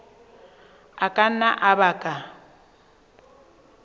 a ka nna a baka